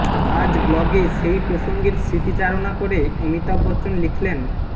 আজ ব্লগে সেই প্রসঙ্গের স্মৃতিচারণা করে অমিতাভ বচ্চন লিখলেন